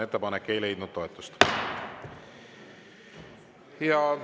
Ettepanek ei leidnud toetust.